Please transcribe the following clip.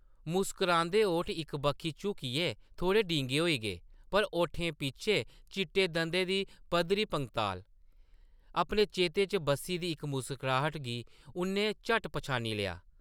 मुस्करांदे ओठ इक बक्खी झुकियै थोह्ड़े डींगे होई गे पर ओठें पिच्छें चिट्टे दंदें दी पद्धरी पंगताल ! अपने चेतें च बस्सी दी इक मुस्कराह्ट गी उʼन्नै झट्ट पन्छानी लेआ ।